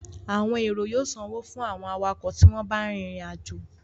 Àwọn èrò yóò sanwó fún àwọn awakọ̀ tí wọ́n bá ń rìnrìn àjò